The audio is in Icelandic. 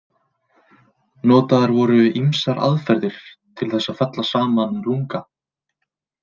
Notaðar voru ýmsar aðferðir til þess að fella saman lunga.